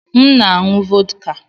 M na-aṅụ vọdka.